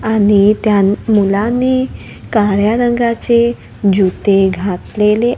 आणि त्या मुलांनी काळया रंगाचे जूते घातलेले--